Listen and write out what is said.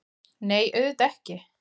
Nei, auðvitað ekki!